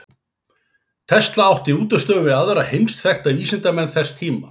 Tesla átti í útistöðum við aðra heimsþekkta vísindamenn þess tíma.